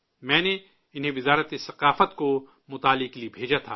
میں نے انہیں وزارت ثقافت کو مطالعہ کے لیے بھیجا تھا